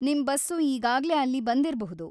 ನಿಮ್ ಬಸ್ಸು ಈಗಾಗ್ಲೇ ಅಲ್ಲಿ ಬಂದಿರ್ಬಹುದು.